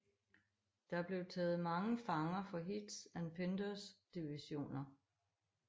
Der blev taget mange fanger fra Heths and Penders divisioner